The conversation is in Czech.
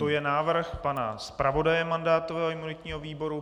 To je návrh pana zpravodaje mandátového a imunitního výboru.